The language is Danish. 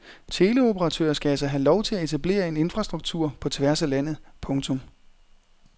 Teleoperatører skal altså have lov at etablere en infrastruktur på tværs af landet. punktum